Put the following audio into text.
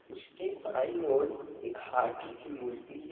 उसके बाई ओर एक हाथी की मूर्ति है।